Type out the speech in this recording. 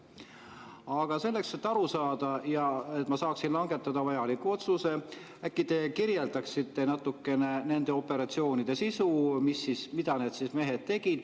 Aga selleks, et aru saada, ja selleks, et ma saaksin langetada vajaliku otsuse, te äkki kirjeldaksite natukene nende operatsioonide sisu, seda, mida need mehed seal tegid.